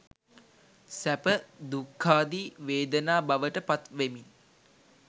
සැප, දුක්ඛාදීි වේදනා බවට පත්වෙමින්